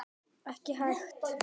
Ekki hægt.